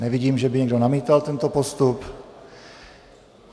Nevidím, že by někdo namítal tento postup.